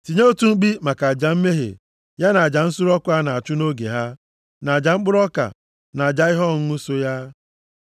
Tinyekwa otu mkpi maka aja mmehie ya na aja nsure ọkụ a na-achụ nʼoge ha, na aja mkpụrụ ọka, na aja ihe ọṅụṅụ so ha.